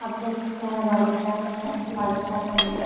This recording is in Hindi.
आप देख सकते है बागीचा है बागीचा के अंदर--